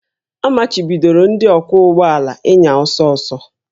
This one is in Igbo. A machibidoro ndị ọkwọ ụgbọ ala ịnya ọsọ ọsọ